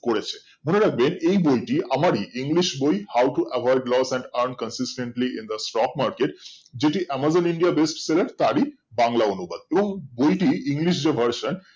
করেছে মনে রাখবেন এই বইটি আমার ই english বই how to avoid loss and earn consistantly in the stock market যেটি amazon indian best sell এর তারই বাংলা অনুবাদ এবং বইটি english version